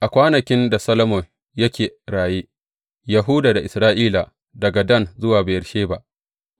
A kwanakin da Solomon yake raye, Yahuda da Isra’ila, daga Dan zuwa Beyersheba,